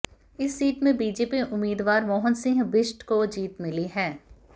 इस सीट से बीजेपी उम्मीदवार मोहन सिंह बिष्ट को जीत मिली है